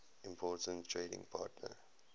important trading partner